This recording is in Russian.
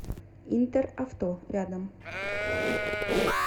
интеравто рядом